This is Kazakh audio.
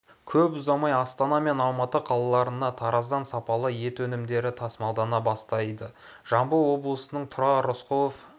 көп ұзамай астана мен алматы қалаларына тараздан сапалы ет өнімдері тасымалдана бастайды жамбыл облысының тұрар рысқұлов